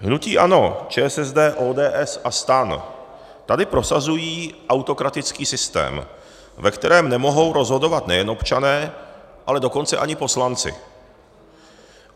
Hnutí ANO, ČSSD, ODS a STAN tady prosazují autokratický systém, ve kterém nemohou rozhodovat nejen občané, ale dokonce ani poslanci.